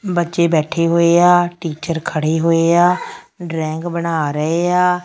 ਬੱਚੇ ਬੈਠੇ ਹੋਏ ਆ ਟੀਚਰ ਖੜ੍ਹੇ ਹੋਏ ਆ ਡ੍ਰੌਇੰਗ ਬਣਾ ਰਹੇ ਆ।